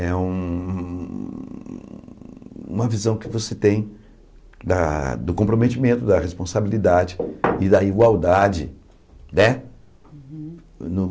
É um uma visão que você tem da do comprometimento, da responsabilidade e da igualdade, né? Uhum No